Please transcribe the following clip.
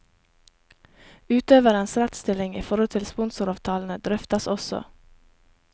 Utøverens rettsstilling i forhold til sponsoravtalene drøftes også.